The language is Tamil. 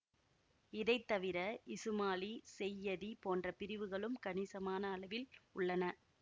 இதை தவிர இசுமாலி செய்யதி போன்ற பிரிவுகளும் கணிசமான அளவில் உள்ளன